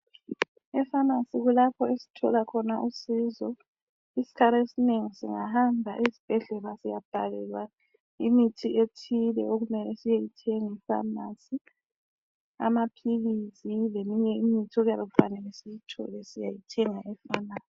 I pharmacy kulapho esithola khona usizo isikhathi esinengi singahamba ezibhedlela siyabhalelwa imithi ethile okumele siyeyithenga e pharmacy. Amaphilisi leminye imithi okuyabe kufanele siyithole siyayithenga e pharmacy.